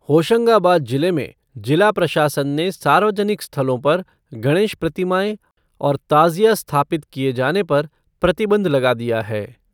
होशंगाबाद जिले में जिला प्रशासन ने सार्वजनिक स्थलों पर गणेश प्रतिमाएं और ताज़िया स्थापित किये जाने पर प्रतिबंध लगा दिया है।